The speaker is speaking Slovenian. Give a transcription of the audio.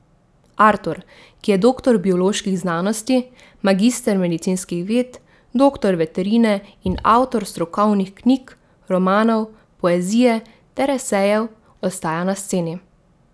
Artur, ki je doktor bioloških znanosti, magister medicinskih ved, doktor veterine in avtor strokovnih knjig, romanov, poezije ter esejev, ostaja na sceni.